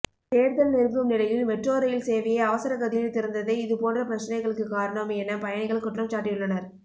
தேர்தல் நெருங்கும் நிலையில் மெட்ரோ ரயில் சேவையை அவசர கதியில் திறந்ததே இதுபோன்ற பிரச்னைகளுக்கு காரணம் என பயணிகள் குற்றம்சாட்டியுள்ளனர்